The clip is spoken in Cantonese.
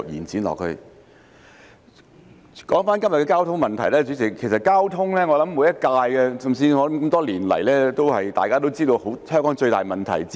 主席，回到今天的交通問題，其實多年來每屆立法會也知道交通是香港最大問題之一。